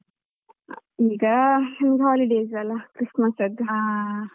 ಈಗ holidays ಅಲ Christmas ಅದ್ದು